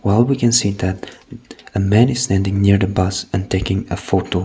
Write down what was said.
and we can see that a man is standing near the bus and taking a photo.